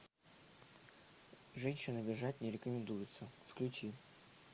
женщин обижать не рекомендуется включи